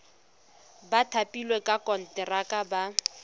ba thapilweng ka konteraka ba